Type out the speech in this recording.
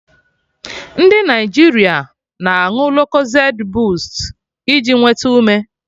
Ndị Naịjirịa na aṅụ Locozed boost iji nwete ume